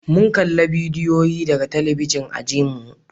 mun kalla bidiyoyi daga talabijin ajinmu